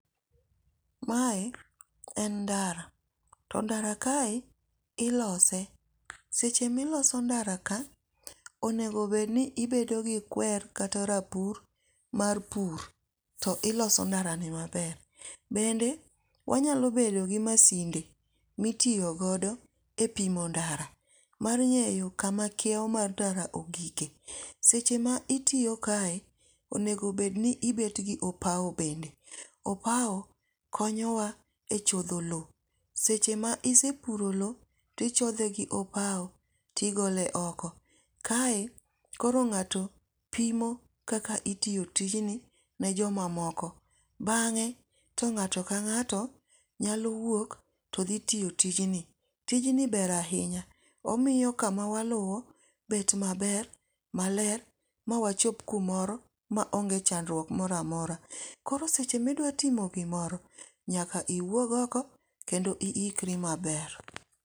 Mae en ndara. To ndara kae ilose. Seche miloso ndara ka onego bed ni ibedo gi kwer kata rapur mar pur, to iloso ndara ni maber. Bende wanyalo bedo gi masinde mitiyo godo e pimo ndara, mar ng'eyo kama kiewo mar ndara ogike. Seche ma itiyo kae, onego bed ni ibet gi opao bende. Opao konyo wa e chodho lowo. Seche ma isepuro lowo to ichodhe gi opao tigole oko. Kae koro ng'ato pimo kaka itiyo tijni ne joma moko. Bang'e to ngáto ka ngáto nyalo wuok to dhi tiyo tijni. Tijni ber ahinya. Omiyo kama waluwo bet maber, maler, mawachop kumoro ma onge chandruok moro amora. Koro seche ma idwa timo gimoro, nyaka iwuog oko, kendo iikri maber.